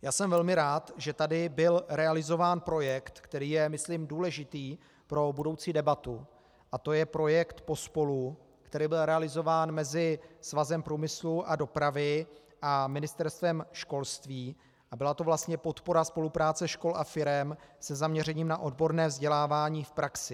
Já jsem velmi rád, že tady byl realizován projekt, který je myslím důležitý pro budoucí debatu, a to je projekt Pospolu, který byl realizován mezi Svazem průmyslu a dopravy a Ministerstvem školství a byla to vlastně podpora spolupráce škol a firem se zaměřením na odborné vzdělávání v praxi.